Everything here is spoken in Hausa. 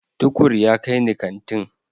Tukur ya kai ni kantin.